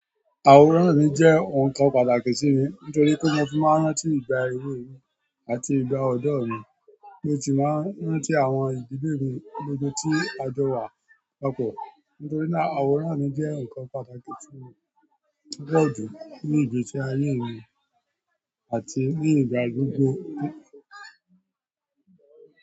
Àwòrán mi je oun kan pàtàkì sí mi nítorí pé mo fi máa ń rántí ìgbà èwe mi àti ìgbà ọ̀dọ̀ mi. Mo ti máa ń rántí àwọn ìdílé mi gbogbo tí a jọ wa papọ̀. Nítorí náà, àwòrán mi jẹ́ nǹkan pàtàkì tí mo lòjù ní ìgbésí ayé mi àti ní ìgbà gbogbo.